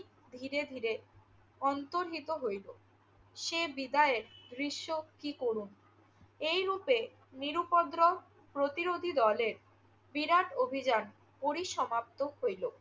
ধীরে ধীরে অন্তর্হিত হইল। সে বিদায়ের দৃশ্য কি করুণ! এইরূপে নিরুপদ্রব প্রতিরোধী দলের বিরাট অভিযান পরিসমাপ্ত হইল।